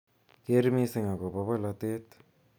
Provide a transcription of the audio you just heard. Keer missing agobo bolotet.